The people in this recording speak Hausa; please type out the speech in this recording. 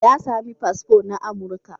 Ya sami fasfo na Amurka.